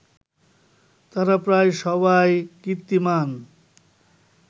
তাঁরা প্রায় সবাই কীর্তিমান